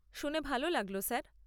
শুনে ভালো লাগল স্যার।